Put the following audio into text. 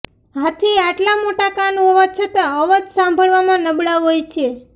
હાથી આટલા મોટા કાન હોવા છતાં અવાજ સાંભળવામાં નબળા હોય છે